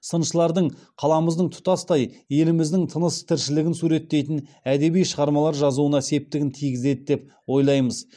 сыншылардың қаламыздың тұтастай еліміздің тыныс тіршілігін суреттейтін әдеби шығармалар жазуына септігін тигізеді деп ойлаймыз